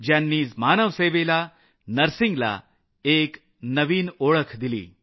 ज्यांनी मानवसेवेला नर्सिंगला एक नवी ओळख दिली